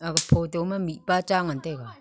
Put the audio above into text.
age photo ma mihpa cha ngan taiga.